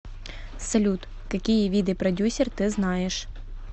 салют какие виды продюсер ты знаешь